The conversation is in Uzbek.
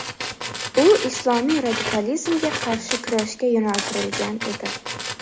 U islomiy radikalizmga qarshi kurashga yo‘naltirilgan edi.